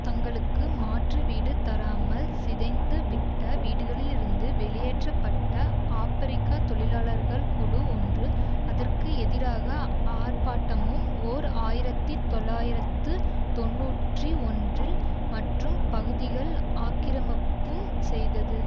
தங்களுக்கு மாற்று வீடு தராமல் சிதைந்து விட்ட வீடுகளிலிருந்து வெளியேற்ற பட்ட ஆப்பிரிக்க தொழிலாளர்கள் குழு ஒன்று அதற்கு எதிராக ஆர்ப்பாட்டமும் ஓர் ஆயிரத்தி தொள்ளாயிரத்து தொன்னூற்றி ஒன்றில் மற்றும் பகுதியில் ஆக்கிரமிப்பும் செய்தது